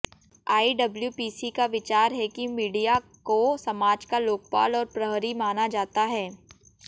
IWPC का विचार है कि मीडिया को समाज का लोकपाल और प्रहरी माना जाता है